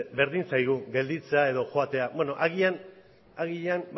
berdin zaigu gelditzea edo joatea agian agian